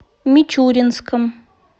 мичуринском